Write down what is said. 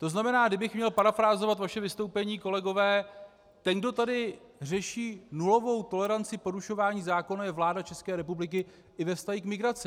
To znamená, kdybych měl parafrázovat vaše vystoupení, kolegové, ten, kdo tady řeší nulovou toleranci porušování zákonů, je vláda České republiky i ve vztahu k migraci.